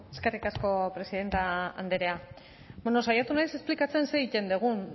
eskerrik asko presidente andrea bueno saiatu naiz esplikatzen zer egiten dugun